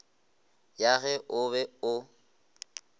ya ge o be o